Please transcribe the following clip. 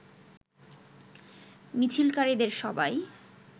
মিছিলকারীদের সবাই